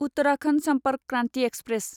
Uttarakhand Sampark Kranti express